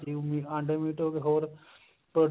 ਇਹੀ ਅੰਡੇ ਮੀਟ ਹੋਗੇ ਹੋਰ